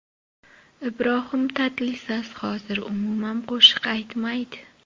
Ibrohim Tatlisas hozir umuman qo‘shiq aytmaydi.